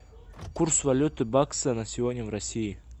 курс валюты бакса на сегодня в россии